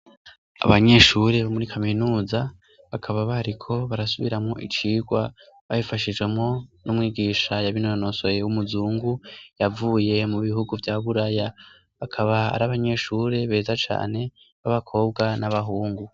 Abanyeshuri bo muri kaminuza bakaba bariko barasubiramo icigwa babifashijemo n'umwigisha yabinonosoye w'umuzungu yavuye mu bihugu vya buraya bakaba ari abanyeshure beza cane b'abakobwa n'abahungu.